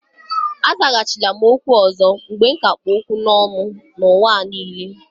Azaghachila m okwu ọzọ mgbe ka kpụ okwu ọnụ ọzọ n'ụwa gị niile.